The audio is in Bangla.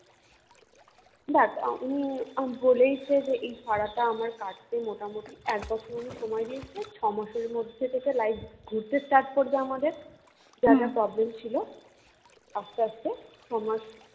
দেখ উনি বলেইছে যে এই ফাঁড়াটা আমার কাটতে মোটামুটি একবছর উনি সময় দিয়েছে ছমাসের মধ্যে life ঘুরতে start করবে আমাদের যা যা problem ছিল আস্তে আস্তে ছয়মাস